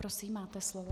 Prosím, máte slovo.